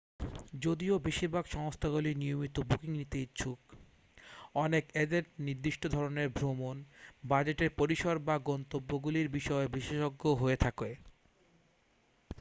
যদিও বেশিরভাগ সংস্থাগুলি নিয়মিত বুকিং নিতে ইচ্ছুক অনেক অ্যাজেন্ট নির্দিষ্ট ধরণের ভ্রমণ বাজেটের পরিসর বা গন্তব্যগুলির বিষয়ে বিশেষজ্ঞ হয়ে থাকে